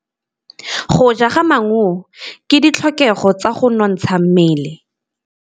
Go ja maungo ke ditlhokegô tsa go nontsha mmele.